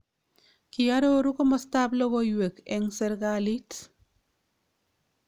Kiaroru komastab logoiwek en serkalit